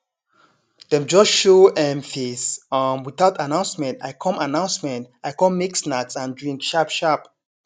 dem just show um face um without announcement i com announcement i com make snacks and drink sharp sharp